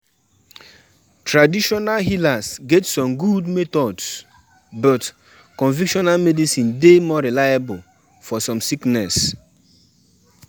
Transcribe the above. I don book di eatery wey go supply small chops for di birthday.